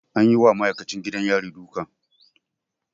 An yi wa ma'aikacin gidan yari duka.